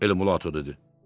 El Mulato dedi.